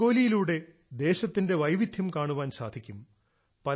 രംഗോലിയിലൂടെ ദേശത്തിന്റെ വൈവിധ്യം കാണുവാൻ സാധിക്കും